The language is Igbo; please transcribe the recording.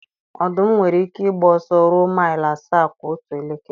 Ọdụm nwere ike ịgba ọsọ ruo maịl asaa kwa otu elekere.